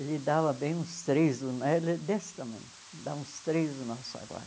Ele dava bem uns três, né desse tamanho, dá uns três do nosso agora.